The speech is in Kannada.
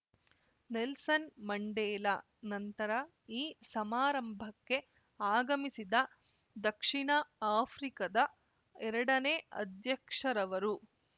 ನೆಲ್ಸನ್‌ ಮಂಡೇಲಾ ನಂತರ ಈ ಸಮಾರಂಭಕ್ಕೆ ಆಗಮಿಸಿದ ದಕ್ಷಿಣ ಆಫ್ರಿಕದ ಎರಡನೇ ಅಧ್ಯಕ್ಷರವರು